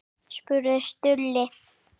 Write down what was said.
spurði Stulli.